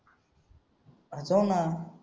हा चल ना